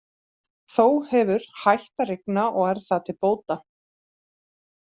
Þó hefur hætt að rigna og er það til bóta.